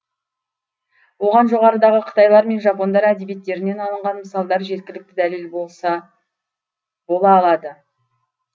оған жоғарыдағы қытайлар мен жапондар әдебиеттерінен алынған мысалдар жеткілікті дәлел бола алады